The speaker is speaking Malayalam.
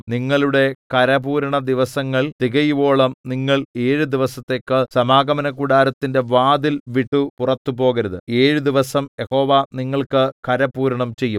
നിങ്ങളുടെ കരപൂരണദിവസങ്ങൾ തികയുവോളം നിങ്ങൾ ഏഴു ദിവസത്തേക്ക് സമാഗമനകൂടാരത്തിന്റെ വാതിൽ വിട്ടു പുറത്തു പോകരുത് ഏഴു ദിവസം യഹോവ നിങ്ങൾക്ക് കരപൂരണം ചെയ്യും